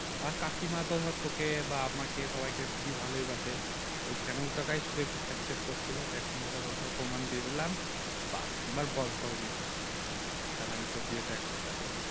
আর কাকিমা ধর তোকে বা আমাকে সবাইকে খুবই ভালোবাসে ওই শ্যামল কাকায় শুধু একটু খেট খেট করছিলো দেক ধর ওটারও প্রমান দিয়ে দিলাম বাহ্ এবার বল কবে বিয়ে করছিস তাহলে আমি তোর বিয়েতে একবার যাবো